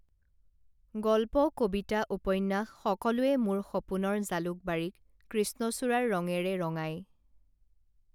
গল্প কবিতা উপন্যাস সকলোৱে মোৰ সপোনৰ জালুকবাৰীক কৃষ্ণচূড়াৰ ৰঙেৰে ৰঙাই